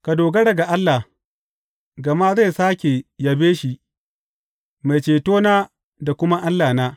Ka dogara ga Allah, gama zai sāke yabe shi, Mai Cetona da kuma Allahna.